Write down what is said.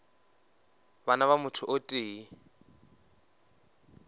bana ba motho o tee